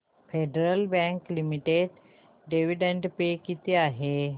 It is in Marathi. federal Bank Limited dividend pay किती आहे